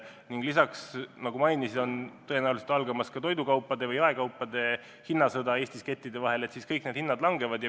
Ning lisaks, nagu ma mainisin, tõenäoliselt algab ka toidukaupa müüvate jaekettide hinnasõda Eestis ja kõik need hinnad langevad.